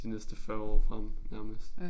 De næste 40 frem nærmest